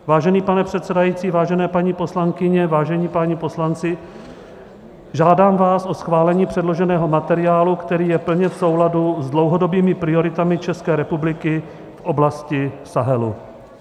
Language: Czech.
Vážený pane předsedající, vážené paní poslankyně, vážení páni poslanci, žádám vás o schválení předloženého materiálu, který je plně v souladu s dlouhodobými prioritami České republiky v oblasti Sahelu.